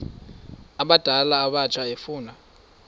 abadala abatsha efuna